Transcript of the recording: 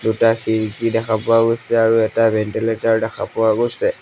দুটা খিৰিকী দেখা পোৱা গৈছে আৰু এটা ভেন্টিলেটৰ দেখা পোৱা গৈছে।